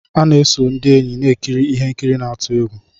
A na-eso ndị enyi na-ekiri ihe nkiri n'atu egwu.